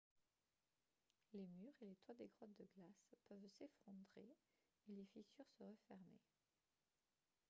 les murs et les toits des grottes de glace peuvent s'effondrer et les fissures se refermer